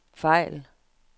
fejl